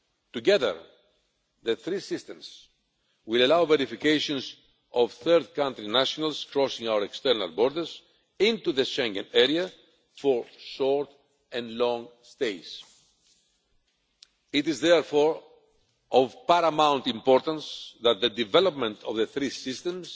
Together, the three systems will allow verifications of third-country nationals crossing our external borders into the Schengen area for short and long stays. It is therefore of paramount importance that the development of the three systems